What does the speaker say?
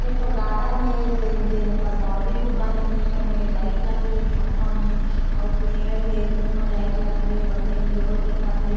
एक ठो गार्डन हे जे जे जेकर बॉउंड्री बने हे ओमे लाइट लगे हे खम्भा में अउ पेड़ हे तेहु म लाइट लगे हे बढ़िया इंजोर दिखत हे।